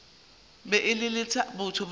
be e le batho ba